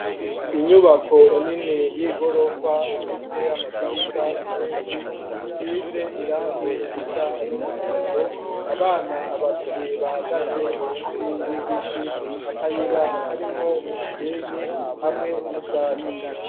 Inyubako nini, y'igorofa, ifise amadirisha menshi, isize irangi risa n'umuhondo; abana babiri, bahagaze munsi y'igiti; akayira, karimwo umusenyi, hamwe n'ubwatsi.